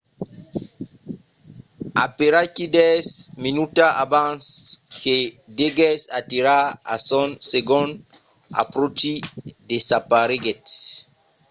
aperaquí dètz minutas abans que deguèsse aterrar a son segond apròchi desapareguèt